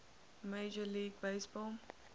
major league baseball